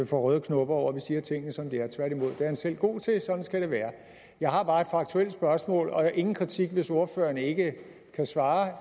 får røde knopper over at vi siger tingene som de er tværtimod det er han selv god til og sådan skal det være jeg har bare et faktuelt spørgsmål og der er ingen kritik hvis ordføreren ikke kan svare